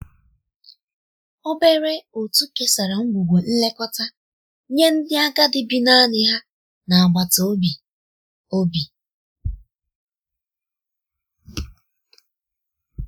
obere otu kesara ngwugwo nlekọta nye ndi agadi bi naani ha n'agbata obi. obi.